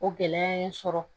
O gɛlɛya ye n sɔrɔ